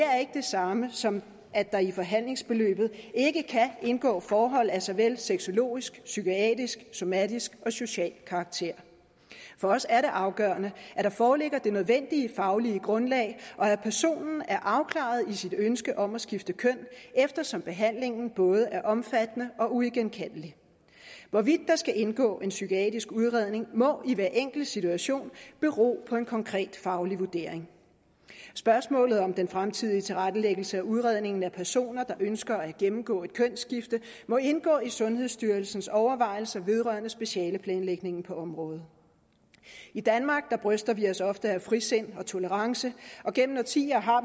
samme som at der i forhandlingsforløbet ikke kan indgå forhold af såvel sexologisk psykiatrisk somatisk og social karakter for os er det afgørende at der foreligger det nødvendige faglige grundlag og at personen er afklaret i sit ønske om at skifte køn eftersom behandlingen både er omfattende og uigenkaldelig hvorvidt der skal indgå en psykiatrisk udredning må i hver enkelt situation bero på en konkret faglig vurdering spørgsmålet om den fremtidige tilrettelæggelse af udredningen af personer der ønsker at gennemgå et kønsskifte må indgå i sundhedsstyrelsens overvejelser vedrørende specialeplanlægningen på området i danmark bryster vi os ofte af frisind og tolerance og gennem årtier har